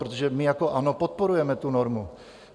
Protože my jako ANO podporujeme tu normu.